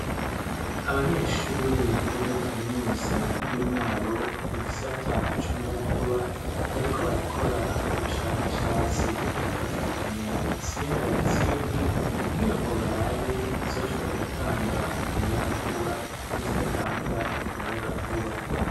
Abanyeshure bo muri kaminuza y'i Mwaro, mu gisata c'umuyagankuba, bariko barakora ubushakashatsi, bafatanya intsinga n'izindi, kugira ngo barabe izoshobora gutanga umuyagankuba, n'izidatanga umuyagankuba.